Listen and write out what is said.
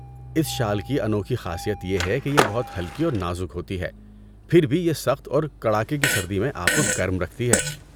اس شال کی انوکھی خاصیت یہ ہے کہ یہ بہت ہلکی اور نازک ہوتی ہے، پھر بھی یہ سخت اور کڑاکے کی سردی میں آپ کو گرم رکھتی ہے۔